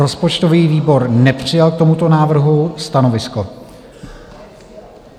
Rozpočtový výbor nepřijal k tomuto návrhu stanovisko.